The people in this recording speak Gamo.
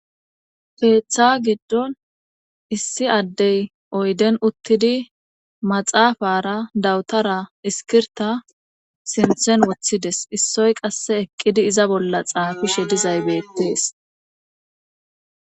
Peeththa giddon issi addey oyden uttidi maxaafara dawutara iskirta sinthen woththides issoy qasse eqqidi iza bolla xaafishe dizaybeettees.